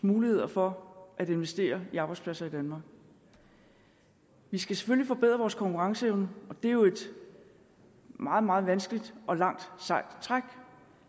muligheder for at investere i arbejdspladser i danmark vi skal selvfølgelig forbedre vores konkurrenceevne og det er jo et meget meget vanskeligt og langt sejt træk